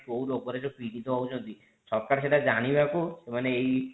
ମାନେ କୋଉ ରୋଗରେ ଯୋଉ ପୀଡିତ ହୋଉଛନ୍ତି ସରକାର ସେଟା ଯାଇବାକୁ ମାନେ ଏଇ